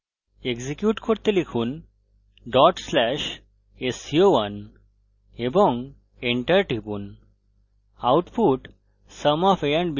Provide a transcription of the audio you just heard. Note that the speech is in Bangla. এক্সিকিউট করতে লিখুন /sco1 এবং enter টিপুন আউটপুট